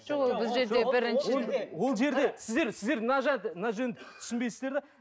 жоқ ол бұл жерде бірінші сіздер сіздер мына жерде мына жөнінде түсінбейсіздер де